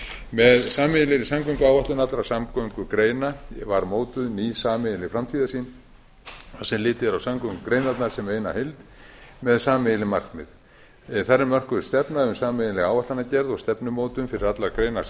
með sameiginlegri samgönguáætlun allra samgöngugreina var mótuð ný sameiginleg framtíðarsýn sem litið er á samgöngugreinarnar sem eina heild með sameiginleg markmið þar er mörkuð stefna um sameiginlega áætlanagerð og stefnumótun fyrir allar greinar